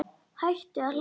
Hætti að hlæja.